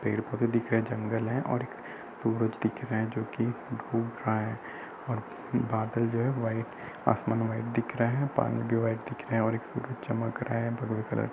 पेड़-पौधे दिख रहे हैं। एक जंगल है और एक सूरज दिख रहा है जोकि डूब रहा है और बादल जो है। वाइट आसमान वाइट दिख रहा है। पानी भी वाइट और एक सूरज चमक रहा है भगवे कलर --